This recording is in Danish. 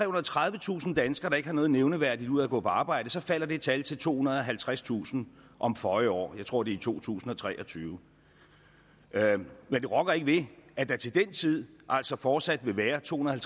og tredivetusind danskere der ikke har noget nævneværdigt ud af at gå på arbejde så falder det tal til tohundrede og halvtredstusind om føje år jeg tror det er i to tusind og tre og tyve men det rokker ikke ved at der til den tid altså fortsat vil være tohundrede og